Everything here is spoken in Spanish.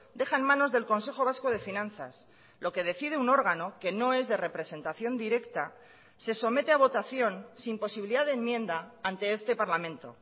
deja en manos del consejo vasco de finanzas lo que decide un órgano que no es de representación directa se somete a votación sin posibilidad de enmienda ante este parlamento